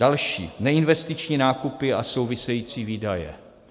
Další - neinvestiční nákupy a související výdaje.